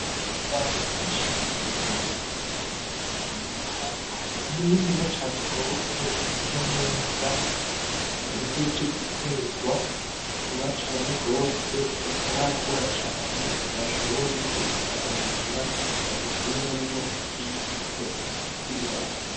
Ibiraya vyinshi biteye igomwe biteye mu murima muniniya cane gose, bisa neza, bihejeje guterwa vuba cane gose, bitarakura cane ngo bashobore kubisarura, babikuremwo imbuto z'ibiraya.